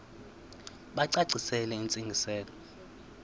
bacacisele intsi ngiselo